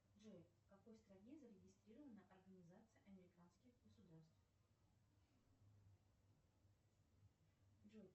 джой в какой стране зарегистрирована организация американских государств джой